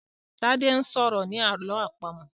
Tade sọrọ ní àlọ́ àpamọ̀.